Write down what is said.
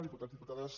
diputats diputades